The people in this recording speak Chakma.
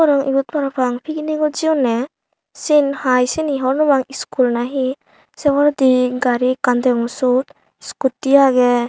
iyot parapang picnic ot jeyunne sen hiy cini hobor nw pang school na he se poredi gari ekkan degong sut scooty age.